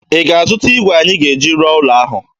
Ị ga-azụta igwe anyị ga-eji rụọ ụlo ahụ?